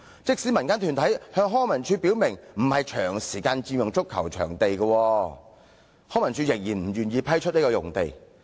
即使民間團體向康文署表明不會長時間佔用該幅足球場用地，康文署仍然不願意批出用地。